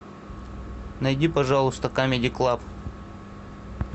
найди пожалуйста камеди клаб